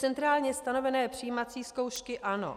Centrálně stanovené přijímací zkoušky - ano.